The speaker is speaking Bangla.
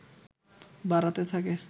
বাড়াতে থাকে